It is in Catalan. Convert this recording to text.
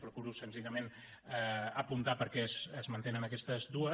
procuro senzillament apuntar per què es mantenen aquestes dues